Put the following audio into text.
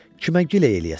Kimə giley eləyəsən?